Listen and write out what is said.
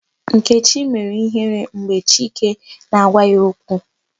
Nkechi mere ihere mgbe Chike na-agwa ya okwu.